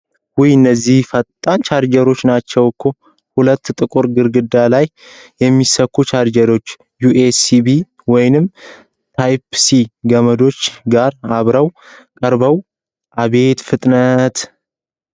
ውይ! እነዚህ ፈጣን ቻርጀሮች ናችው እኮ! ሁለት ጥቁር ግድግዳ ላይ የሚሰኩ ቻርጀሮች ዩኤስቢ ወይም ታይፕ-ሲ ገመዶች ጋር አብረው ቀርበው! አቤት ፍጥነት!